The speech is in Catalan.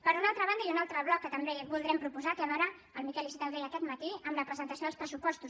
per una altra banda i un altre bloc que també voldrem proposar té a veure el miquel iceta ho deia aquest matí amb la presentació dels pressupostos